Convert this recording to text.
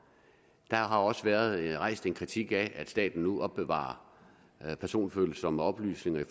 der har også været rejst en kritik af at staten nu opbevarer personfølsomme oplysninger